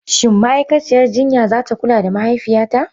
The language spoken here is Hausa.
Shin ma'aikaciyar jinya za ta kula da mahaifiyata?